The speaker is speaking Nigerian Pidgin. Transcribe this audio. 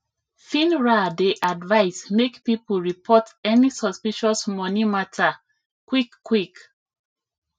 finra dey advise make people report any suspicious money matter quick quick